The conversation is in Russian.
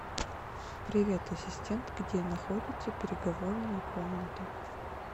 привет ассистент где находится переговорная комната